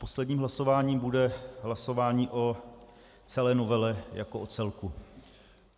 Posledním hlasováním bude hlasování o celé novele jako o celku.